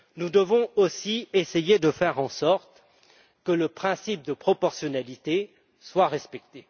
Nous devons aussi essayer de faire en sorte que le principe de proportionnalité soit respecté.